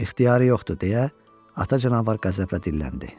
İxtiyarı yoxdur deyə ata canavar qəzəblə dilləndi.